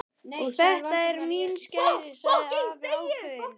Og þetta eru mín skæri sagði afi ákveðinn.